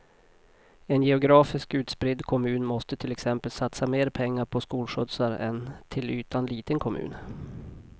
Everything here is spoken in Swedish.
En geografiskt utspridd kommun måste till exempel satsa mer pengar på skolskjutsar än en till ytan liten kommun.